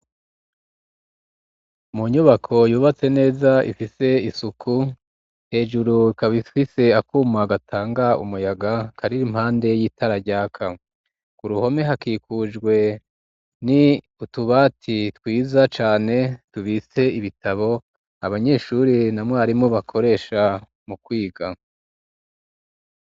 Mu nyubako yubatse neza ifise isuku hejuru ikaba ifise akuma gatanga umuyaga kari impande y'itara ryaka ku ruhome hakikujwe n'utubati twiza cane dubitse ibitabo abanyeshuri na mwarimu bakoresha mu kwiga.